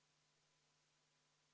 Poolt 15, vastu 53, erapooletuid 0.